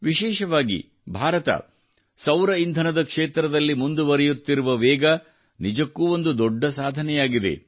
ವಿಶೇಷವಾಗಿ ಭಾರತ ಸೌರ ಇಂಧನದ ಕ್ಷೇತ್ರದಲ್ಲಿ ಮುಂದುವರಿಯುತ್ತಿರುವ ವೇಗವು ನಿಜಕ್ಕೂ ಒಂದು ದೊಡ್ಡ ಸಾಧನೆಯಾಗಿದೆ